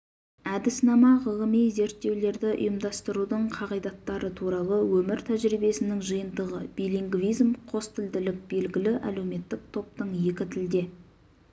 әдіснама ғылыми зерттеулерді ұйымдастырудың қағидаттары туралы өмір тәжірибесінің жиынтығы билингвизм қостілділік белгілі әлеуметтік топтың екі тілде